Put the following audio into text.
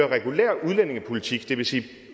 regulær udlændingepolitik det vil sige